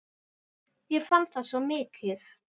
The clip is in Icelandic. Ég fann það svo mikið.